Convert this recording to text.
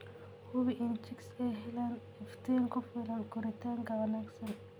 Hubi in chicks ay helaan iftiin ku filan koritaanka wanaagsan.